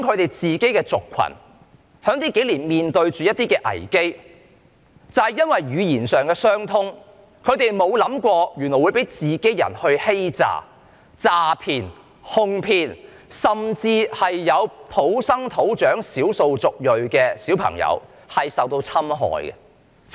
他說他們的族群近年面對一些危機，因為語言上的相通，他們沒有想過會被同鄉欺詐、詐騙、哄騙，甚至有土生土長的少數族裔的小朋友受到侵害。